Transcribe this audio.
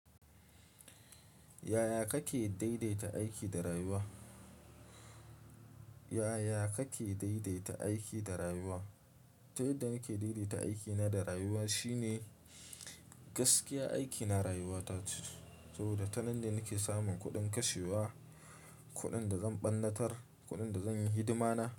Yaya kake daidaita aiki da rayuwa? Yaya kake daidaita aiki da rayuwa? Ta yadda nake daidaita aikina da rayuwa shine gaskiya aikina rayuwata ce. Saboda tanan ne nake samun kuɗin kashewa, kuɗin da zan ɓannatar, kuɗin da zan yi hidima na.